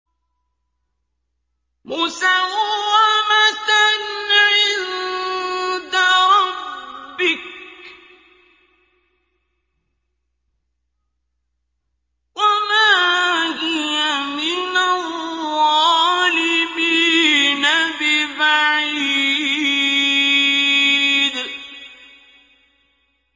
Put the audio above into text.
مُّسَوَّمَةً عِندَ رَبِّكَ ۖ وَمَا هِيَ مِنَ الظَّالِمِينَ بِبَعِيدٍ